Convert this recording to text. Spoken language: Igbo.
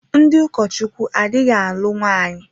Ndị ụkọchukwu adịghị alụ nwaanyị.